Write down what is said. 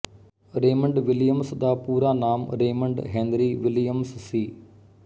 Raymond Williams ਦਾ ਪੂਰਾ ਨਾਮ ਰੇਮੰਡ ਹੈਨਰੀ ਵਿਲੀਅਮਸ ਸੀ